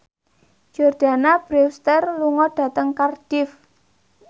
Jordana Brewster lunga dhateng Cardiff